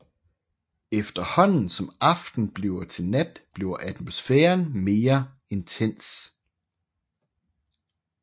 Efterhånden som aften bliver til nat bliver atmosfæren mere intens